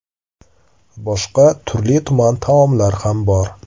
Boshqa turli-tuman taomlar ham bor.